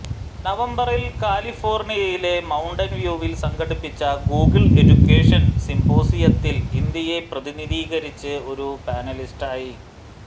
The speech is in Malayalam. നവംബറിൽ കാലിഫോർണിയയിലെ മൌണ്ടൻ വ്യൂവിൽ സംഘടിപ്പിച്ച ഗൂഗിൾ എഡ്യുക്കേഷൻ സിംപോസിയത്തിൽ ഇന്ത്യയെ പ്രതിനിധീകരിച്ച് ഒരു പാനലിസ്റ്റായി